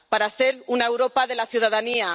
para hacer una Europa de la ciudadanía